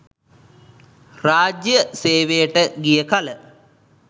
රාජ්‍යය සේවයට ගිය කල